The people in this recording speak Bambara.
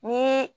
Ni